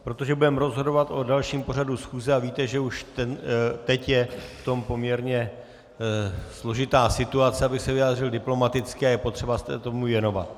Protože budeme rozhodovat o dalším pořadu schůze a víte, že už teď je v tom poměrně složitá situace, abych se vyjádřil diplomaticky, a je potřeba se tomu věnovat.